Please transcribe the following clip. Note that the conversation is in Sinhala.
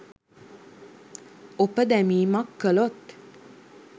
ඔප දැමීමක් කළොත්